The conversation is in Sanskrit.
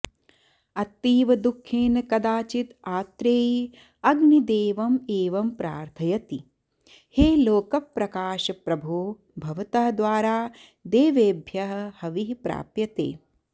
अतीवदुःखेन कदाचित् आत्रेयी अग्निदेवम् एवं प्रार्थयति हे लोकप्रकाशकप्रभो भवतः द्वारा देवेभ्यः हविः प्राप्यते